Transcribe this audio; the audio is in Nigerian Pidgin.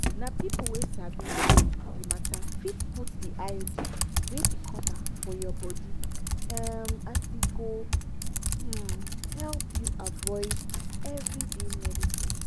na people wey sabi um the matter fit put iud wey be copper for your body um as e go um help you avoid everyday medicines.